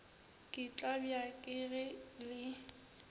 ke tlabja ke ge le